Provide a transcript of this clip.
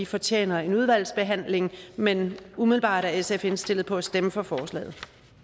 fortjener en udvalgsbehandling men umiddelbart er sf indstillet på at stemme for forslaget